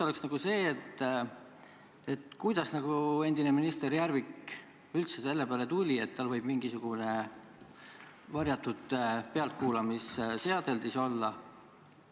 Üks on see: kuidas endine minister Järvik üldse selle peale tuli, et tal võib kabinetis mingisugune varjatud pealtkuulamisseadeldis olla?